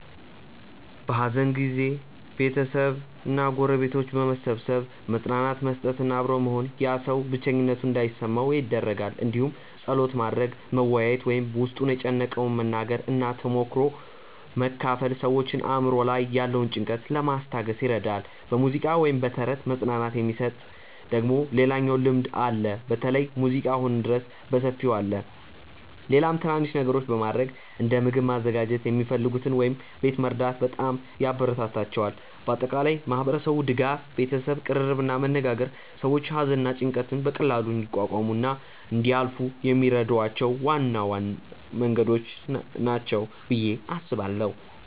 በሐዘን ጊዜ ቤተሰብ እና ጎረቤቶች በመሰብሰብ መጽናናት መስጠት እና አብሮ መሆን ያ ሰው ብቸኝነት እንዳይሰማው ይደረጋል እንዲሁም ጸሎት ማድረግ፣ መወያየት ወይም በ ውስጥን የጨነቀውን መናገር እና ተሞክሮ መካፈል ሰዎችን አእምሮ ላይ ያለውን ጭንቀት ለማስታገስ ይረዳል። በሙዚቃ ወይም በተረት መጽናናት የሚሰጥ ደግሞ ሌላኛው ልምድ አለ በተለይ ሙዚቃ አሁንም ድረስ በሰፊው አለ። ሌላም ትናናንሽ ነገሮች በማረግ እንደ ምግብ ማዘጋጀት የሚፈልጉትን ወይም ቤት መርዳት በጣም ያበራታታቸዋል። በአጠቃላይ ማህበረሰቡ ድጋፍ፣ ቤተሰብ ቅርርብ እና መነጋገር ሰዎች ሐዘንን እና ጭንቀትን በቀላሉ እንዲቋቋሙ እና እንዲያልፏ የሚረዷቸው ዋና መንገዶች ናቸው ብዬ አስባለው።